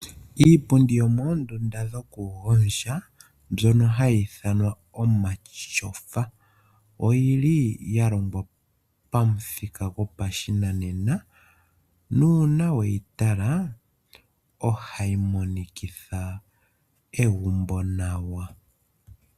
Iipundi yomoondunda dhokugondja mbyono hayi ithanwa omatyofa oyili ya longwa pamuthika gopashinanena nuuna weyi tala ohayi monikitha egumbo nawa.